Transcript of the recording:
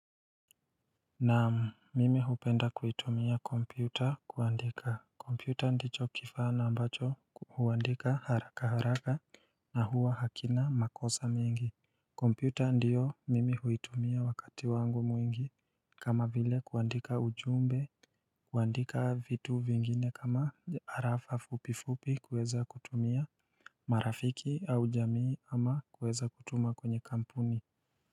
Na mimi hupenda kuitumia kompyuta kuandika kompyuta ndicho kifa na ambacho huandika haraka haraka na huwa hakina makosa mingi kompyuta ndiyo mimi huitumia wakati wangu mwingi kama vile kuandika ujumbe kuandika vitu vingine kama harafa fupifupi kuweza kutumia marafiki au jamii ama kuweza kutuma kwenye kampuni.